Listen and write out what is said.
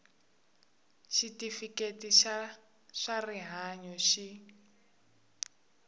xitifiketi xa swa rihanyu xi